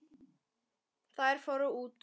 Þær fóru út.